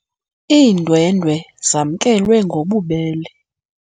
Iindwendwe zamkelwe ngobubele.